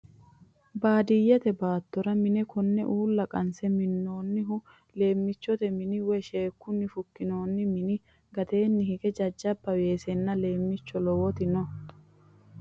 Baadiyeette baattora mine konne uulla qanse minnoonnihu leemichchotte minni woy sheekunni fukkinnonni minni gateenni hige jajabba weesenna , leemichcho lowotti no.